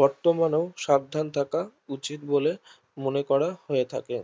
বর্তমানেও সাবধান থাকা উচিত বলে মনে করা হয় থাকে